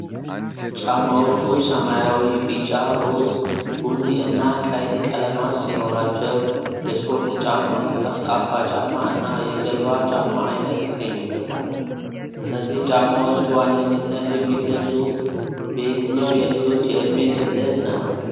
ጫማዎቹ ሰማያዊ፣ ቢጫ፣ ሮዝ፣ ቡኒ እና ቀይ ቀለማት ሲኖራቸው፣ የስፖርት ጫማ፣ ጠፍጣፋ ጫማ እና የጀልባ ጫማ ዓይነት ይገኙበታል። እነዚህ ጫማዎች በዋነኝነት የሚገዙት በየትኛው የልጆች የዕድሜ ክልል ነው?